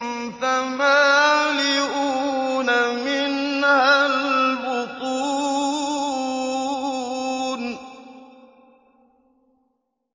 فَمَالِئُونَ مِنْهَا الْبُطُونَ